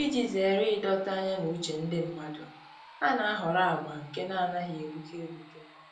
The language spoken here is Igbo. Iji zere ịdọta anya na uche ndị mmadụ, ha na-ahọrọ agba nke na-anaghị egbuke egbuke